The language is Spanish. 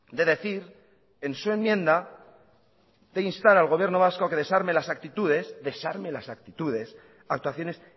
de decir en su enmienda de instar al gobierno vasco a que desarme las actitudes desarme las actitudes actuaciones